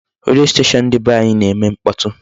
Redio station dị be nwaanyị na-eme mkpọtụ.